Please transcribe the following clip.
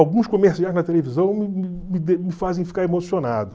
Alguns comerciais na televisão me me fazem ficar emocionado.